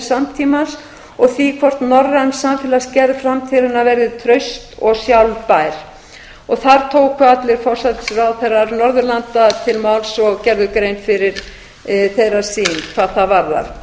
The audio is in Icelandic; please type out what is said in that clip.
samtímans og því hvort norræn samfélagsgerð framtíðarinnar verði traust og sjálfbær þar tóku allir forsætisráðherra norðurlanda til máls og gerðu grein fyrir þeirra sýn hvað það